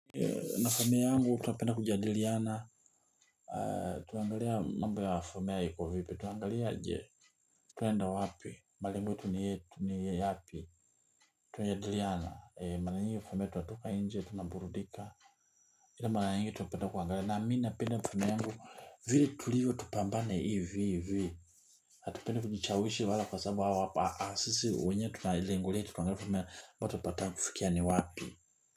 Na familia yangu tunapenda kujadiliana. Tuanaangalia mambo ya familia iko vipi tuanaangalia je twaenda wapi malengo yetu ni yetu ni yapi. Tunajadiliana mara nyingi familia tunatoka nje tunaburudika ila mara nyingi tunapenda kuangalia na mimi napenda familia yangu vile tulivyo tupambane hivi hivi hatupendi kujichawishi wala kwa sababu au hapa sisi wenyewe tuna lengo letu tunaangalia ambapo tunapataka kufikia ni wapi.